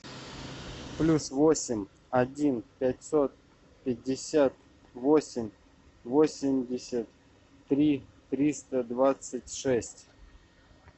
плюс восемь один пятьсот пятьдесят восемь восемьдесят три триста двадцать шесть